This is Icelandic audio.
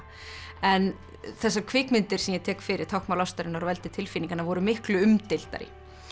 en þessar kvikmyndir sem ég tek fyrir táknmál ástarinnar og veldi tilfinninganna voru miklu umdeildari